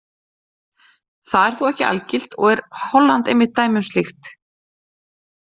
Það er þó ekki algilt og er Holland einmitt dæmi um slíkt.